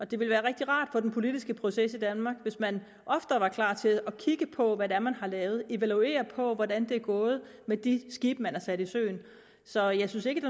det ville være rigtig rart for den politiske proces i danmark hvis man oftere var klar til at kigge på hvad man har lavet og evaluere hvordan det er gået med de skibe man har sat i søen så jeg synes ikke